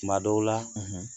Tuma dɔw la